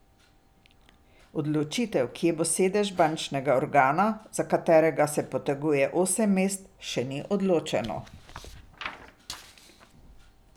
Odločitev, kje bo sedež bančnega organa, za katerega se poteguje osem mest, še ni odločeno.